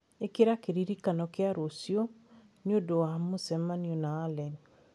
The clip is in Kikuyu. ĩkira kĩririkano kĩa rũciũ nĩ ũndũ wa mũcemanio na Allen